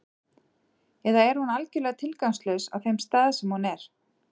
Eða er hún algjörlega tilgangslaus á þeim stað sem hún er?